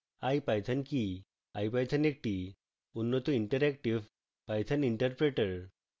ipython কি